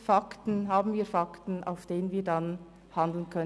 Schaffen wir Fakten, aufgrund derer wir handeln können.